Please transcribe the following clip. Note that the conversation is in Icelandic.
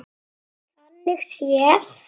Þannig séð.